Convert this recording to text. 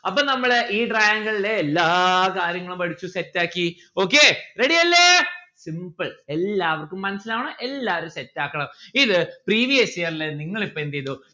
അപ്പം നമ്മളെ ഈ triangle ലെ എല്ലാ കാര്യങ്ങളും പഠിച്ചു set ആക്കി. okay ready അല്ലേ simple എല്ലാവര്ക്കും മനസിലാവണം എല്ലാവരും set ആക്കണം. ഇത് previous year ലെ നിങ്ങൾ ഇപ്പോ എന്തെയ്തു